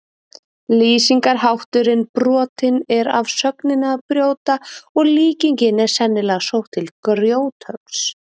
Lýsingarhátturinn brotinn er af sögninni að brjóta og líkingin er sennilega sótt til grjóthöggs.